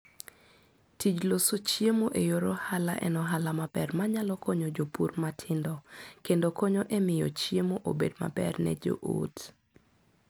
Tij loso chiemo e yor ohala en ohala maber manyalo konyo jopur matindo, kendo konyo e miyo chiemo obed maber ne joot.